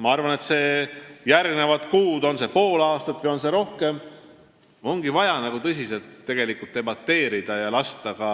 Ma arvan, et järgmistel kuudel, kas pool aastat või kauem, ongi vaja tõsiselt debateerida ja lasta ka